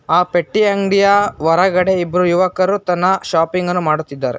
ಆ ಪೆಟ್ಟಿ ಅಂಗ್ಡಿಯ ಹೊರಗಡೆ ಇಬ್ರು ಯುವಕರು ತನ ಶಾಪಿಂಗ್ ಅನ್ನು ಮಾಡುತ್ತಿದ್ದಾರೆ.